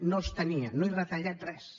no els tenia no he retallat res